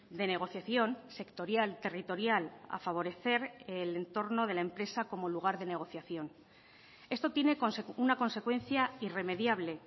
de negociación sectorial territorial a favorecer el entorno de la empresa como lugar de negociación esto tiene una consecuencia irremediable